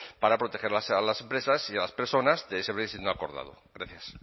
para proteger a las empresas y a las personas de ese brexit no acordado gracias